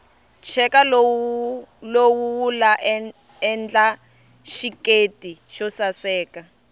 cheka lowu wula endla xiketi xosaseka